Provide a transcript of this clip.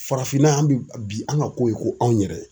Farafinna yan an bi bin an ka ko ye ko anw yɛrɛ.